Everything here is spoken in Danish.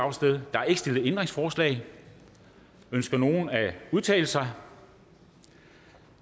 der er ikke stillet ændringsforslag ønsker nogen at udtale sig